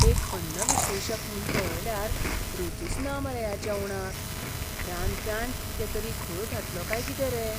एक अन्न विश्लेशक म्हूण पळयल्यार रूचूच ना मरे ह्या जेवणाक. रांदप्यान कितें तरी घोळ घातलो काय कितें रे?